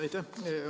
Aitäh!